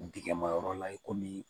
Dingɛmayɔrɔ la i komi